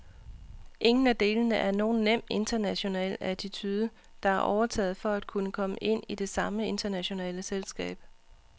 Ingen af delene er nogen nem international attitude, der er overtaget for at kunne ind i det samme internationale selskab.